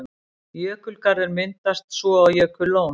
Jökulgarður myndast svo og jökullón.